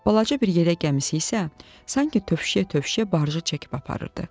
Balaca bir yeləkən gəmisi isə sanki tövşüyə-tövşüyə barjı çəkib aparırdı.